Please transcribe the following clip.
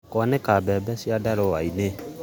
Kwanĩka mbembe ciandarũa-inĩ